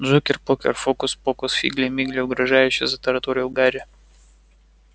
джокер-покер фокус-покус фигли-мигли угрожающе затараторил гарри